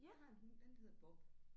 Jeg har en hund den hedder Bob